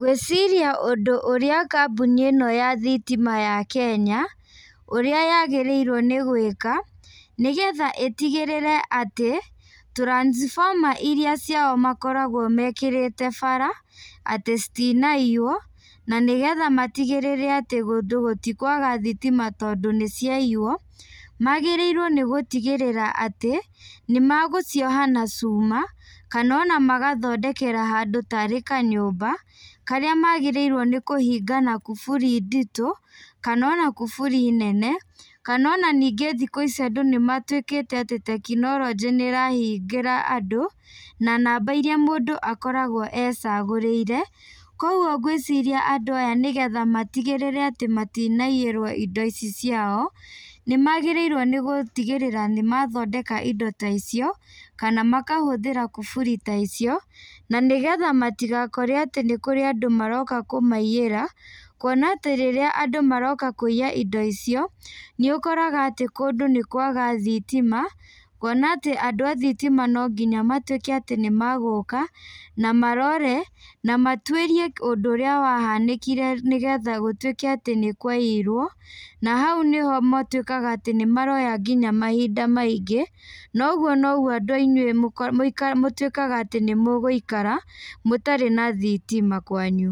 Ngwĩciria ũndũ ũrĩa kambũni íno ya thitima ya kenya, ũrĩa yagĩrĩirwo nĩ gwĩka, nĩgetha ítigĩrĩre atĩ, transformer iria ciao makoragwo mekĩrĩte bara atĩ citinaiywo, na nĩgetha matigĩrĩre atĩ kũndũ gũtikwaga thitima tondũ nĩciaiywo, wagĩrĩirwo nĩgũtigĩrĩra atĩ, nĩmegũcioha na cuma, kanona magathondekera handũ tarĩ kanyũmba, akrĩa magĩrĩirwo nĩkũhinga na kuburi nditũ, kanona kuburi nene, kanona ningĩ thikũ ici andũ nĩmawĩkĩte atĩ tekinoronjĩ nĩrahingĩra andũ, na namba iria mũndũ akoragwo ecagũrĩire, koguo ngwĩciria andũ aya nĩgetha matigĩrĩre atĩ matinaiyírwo indo ici ciao, nĩmagĩrĩirwo nĩgũtigĩrĩra nĩmathondeka indo ta icio, kana makahũthĩra kuburi ta icio na nígetha matigakore atĩ nĩkũrĩ andũ maroka kũmaiyĩra, kuona atĩ rĩrĩa andũ maroka kũiya indo icio, nĩũkoraga atĩ kũndũ nĩkwaga thitima, kuona atĩ andũ a thitima nonginya matwĩke atĩ nĩmagúka, na marore, na matwĩrie ũndũ ũrĩa wahanĩkire nĩgetha gũtwĩke atĩ nĩkwaiirwo, na hau nĩho matwĩkaga atĩ nĩmaroya nginya mahinda maingĩ, noguo noguo andũ nainyuĩ mũtwĩkaga atĩ nĩmũgũikara mũtarĩ na thitima kwanyu.